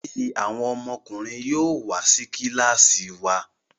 Olórí àwọn ọmọkùnrin yóò wá sí kilasi wá.